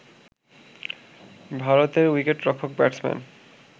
ভারতের উইকেটরক্ষক ব্যাটসম্যান